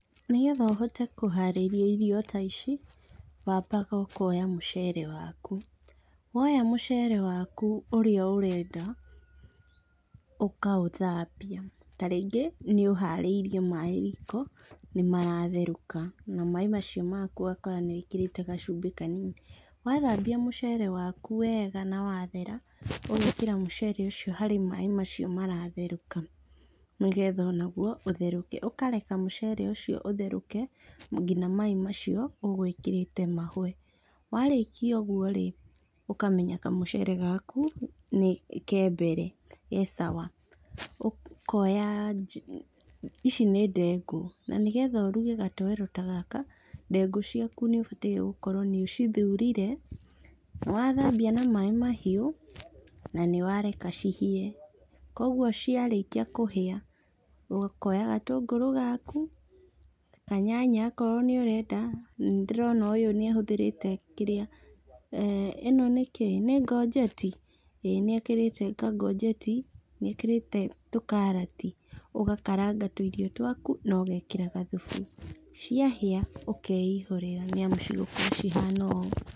Nĩ getha ũhote kũharĩrfia irio ta ici, wambaga ũkoya mũcere waku, woya mũcere waku ũrĩa ũrenda ũkaũthambia, tarĩngĩ nĩ ũharĩrie maaĩ riko nĩ maratherũka, na maaĩ macio maku ũgakorwo nĩ wĩkĩrĩte gacumbĩ kanini, wathambia mũcere waku wega na wa thera, ũgekĩra mũcere ũcio harĩ maaĩ macio maratherũka nĩ getha o naguo ũtherũke, ũkareka mũcere ũcio ũtherũke, ngina maaĩ macio ũgwĩkĩrĩte mahwe, warĩkia ũgourĩ ũkamenya kamũcere gaku nĩ kembere ge sawa Ĩkoya, iici nĩ ndengu nĩguo ĩruge gatoero ta gaka, ndengu caku nĩ ubatii gũkorwo nĩ ũcithurire, wathambia na maĩ mahiũ, na nĩwareka cihĩe koguo cĩarĩkia kũhĩa , ũkoya gatũngũrũ gaku kanyanya okorwo nĩ ũrenda, nĩndĩrona ũyũ nĩ ahũthĩrĩte kĩrĩa, eeh ĩno nĩ kĩĩ? nĩ ngojeti? Ĩĩ nĩ ekĩrĩte kangojeti nĩ ekĩrĩte tũkarati , ũgakaranga tũirio twaku na ũgekĩra gathufu, ciahĩa ũkeihũrĩra nĩamu igũkorwo cihana ũũ